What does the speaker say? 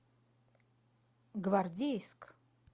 гвардейск